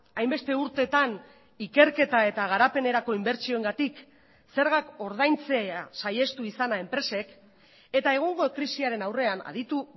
hainbeste urteetan ikerketa eta garapenerako inbertsioengatik zergak ordaintzea saihestu izana enpresek eta egungo krisiaren aurrean aditu